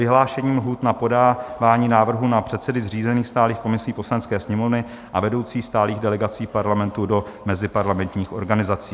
Vyhlášení lhůt na podávání návrhů na předsedy zřízených stálých komisí Poslanecké sněmovny a vedoucí stálých delegací Parlamentu do meziparlamentních organizací